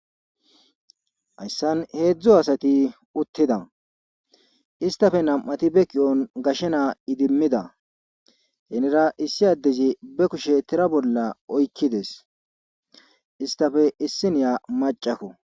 Hayssan heezzu asati uttida .Istappe nam'ati ba kushen gashe naa idimmida. Hinnira issi addezi ba kushe tira bolla oykki dees. Istappe issiniya macakko.